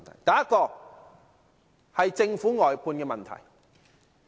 第一，是政府的外判問題。